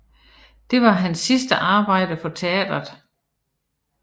Det var hans sidste arbejde for teatret